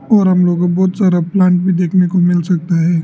और हम लोगों को बहोत सारा प्लांट भी देखने को मिल सकता है।